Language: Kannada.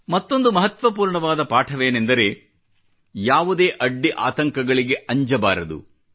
ಮತ್ತೊಂದು ಮಹತ್ವಪೂರ್ಣವಾದ ಪಾಠವೇನೆಂದರೆ ಯಾವುದೇ ಅಡ್ಡಿ ಆತಂಕಗಳಿಗೆ ಅಂಜಬಾರದು